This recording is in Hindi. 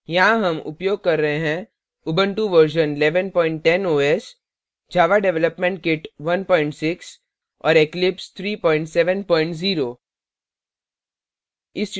यहाँ हम उपयोग कर रहे हैं